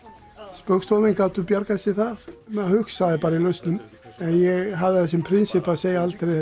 spaugstofumenn gátu bjargað sér þar maður hugsaði bara í lausnum ég hafði það sem prinsip að segja aldrei